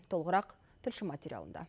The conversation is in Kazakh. толығырақ тілші материалында